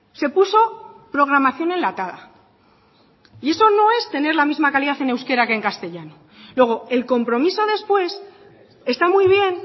se puso programación enlatada y eso no es tener la misma calidad en euskera que en castellano luego el compromiso después está muy bien